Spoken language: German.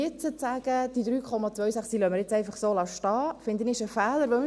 Und jetzt zu sagen, dass wir die 3,26 nun einfach so stehen lassen, ist ein Fehler, finde ich.